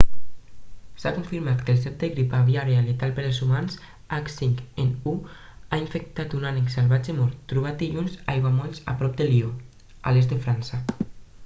s'ha confirmat que el cep de la grip aviària letal per als humans h5n1 ha infectat un ànec salvatge mort trobat dilluns a aiguamolls a prop de lió a l'est de frança